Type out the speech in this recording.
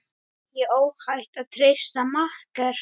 Er óhætt að treysta makker?